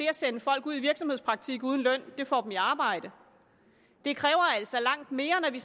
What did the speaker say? at sende folk ud i virksomhedspraktik uden løn får dem i arbejde det kræver altså langt mere når det